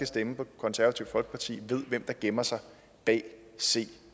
stemme på det konservative folkeparti ved hvem der gemmer sig bag c